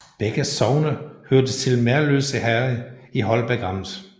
Begge sogne hørte til Merløse Herred i Holbæk Amt